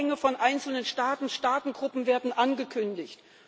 Alleingänge von einzelnen Staaten, Staatengruppen werden angekündigt.